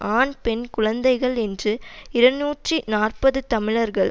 ஆண் பெண் குழந்தைகள் என்று இருநூற்றி நாற்பது தமிழர்கள்